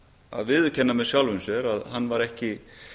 að viðurkenna með sjálfum sér að hann var ekki